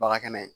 Baga kɛnɛ